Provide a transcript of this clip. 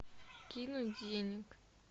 кинуть денег